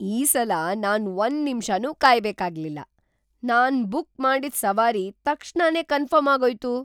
ಈ ಸಲ ನಾನ್ ಒಂದ್ ನಿಮ್ಷನೂ ಕಾಯ್ಬೇಕಾಗ್ಲಿಲ್ಲ. ನಾನ್ ಬುಕ್‌ ಮಾಡಿದ್ ಸವಾರಿ ತಕ್ಷಣನೇ ಕನ್ಫರ್ಮ್‌ ಆಗೋಯ್ತು!